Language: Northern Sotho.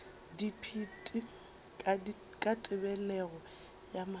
dipit ka tebelego ya mahlo